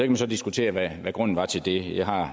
man så diskutere hvad grunden var til det jeg har